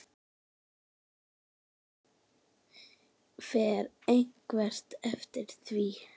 Fer einhver eftir því?